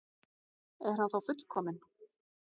Er hann þá fullkominn?